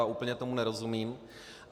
A úplně tomu nerozumím.